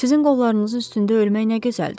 Sizin qollarınızın üstündə ölmək nə gözəldir.